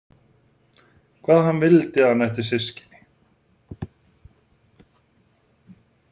Hvað hann vildi að hann ætti systkini.